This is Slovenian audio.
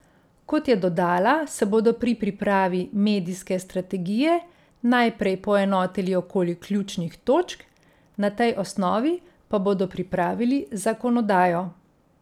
Kot je dodala, se bodo pri pripravi medijske strategije najprej poenotili okoli ključnih točk, na tej osnovi pa bodo pripravili zakonodajo.